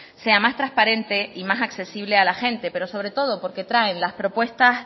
sea más transparente y más accesible a la gente pero sobre todo porque traen las propuestas